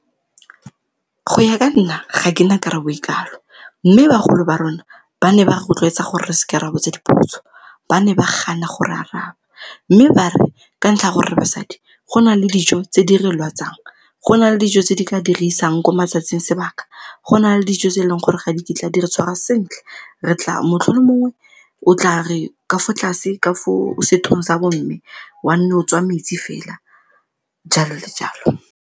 Go ya ka nna ga ke na karabo e kalo, mme bagolo ba rona ba ne ba rotloetsa gore re se ke ra botsa dipotso ba ne ba gana go re araba, mme ba re ka ntlha ya gore re basadi go na le dijo tse di re lwatsang go na le dijo tse di ka re isang ko matsatsing sebaka, go na le dijo tse e leng gore ga di kitla di re tshwarwa sentle re tla motlho mongwe o tla re ka fo tlase ka foo sethong sa bomme wa nne o tswa metsi fela, jalo le jalo.